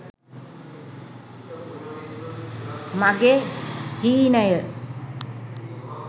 mage heenaye